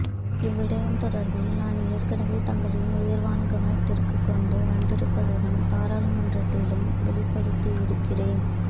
இவ்விடயம் தொடர்பில் நான் ஏற்கனவே தங்களின் உயர்வான கவனத்திற்கு கொண்டு வந்திருப்பதுடன் பாராளுமன்றத்திலும் வெளிப்படுத்தியிருக்கிறேன்